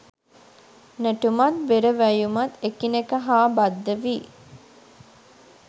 නැටුමත් බෙර වැයුමත් එකිනෙක හා බද්ධ වී